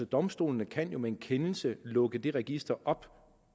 domstolene kan jo med en kendelse lukke det register op